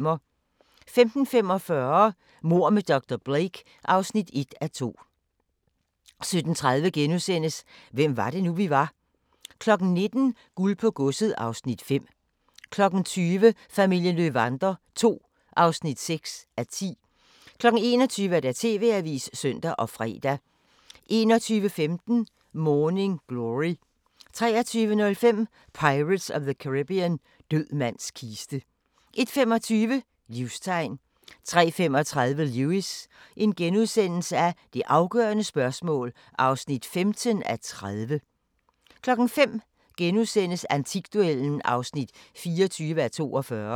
15:45: Mord med dr. Blake (1:2) 17:30: Hvem var det nu, vi var? * 19:00: Guld på godset (Afs. 5) 20:00: Familien Löwander II (6:10) 21:00: TV-avisen (søn og fre) 21:15: Morning Glory 23:05: Pirates of the Caribbean – Død mands kiste 01:25: Livstegn 03:35: Lewis: Det afgørende spørgsmål (15:30)* 05:00: Antikduellen (24:42)*